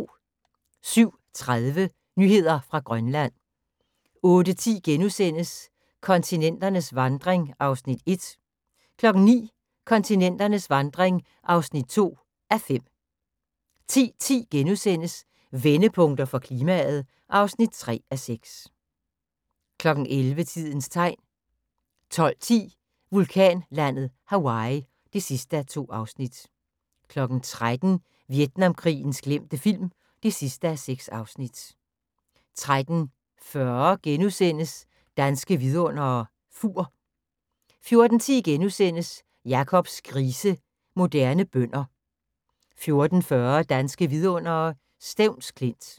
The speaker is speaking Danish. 07:30: Nyheder fra Grønland 08:10: Kontinenternes vandring (Afs. 1)* 09:00: Kontinenternes vandring (2:5) 10:10: Vendepunkter for klimaet (3:6)* 11:00: Tidens Tegn 12:10: Vulkanlandet Hawaii (2:2) 13:00: Vietnamkrigens glemte film (6:6) 13:40: Danske Vidundere: Fur * 14:10: Jacobs grise – Moderne bønder * 14:40: Danske vidundere: Stevns Klint